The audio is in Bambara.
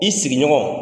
I sigiɲɔgɔn